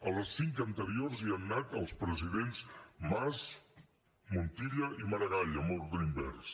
a les cinc anteriors hi han anat els presidents mas montilla i maragall en ordre invers